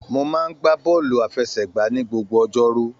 Mó máa n gbà bọọlu àfẹ́sẹ̀gbà ní gbogbo ọjọ́rú.